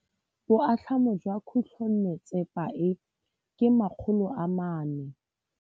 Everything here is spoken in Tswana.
Boatlhamô jwa khutlonnetsepa e, ke 400.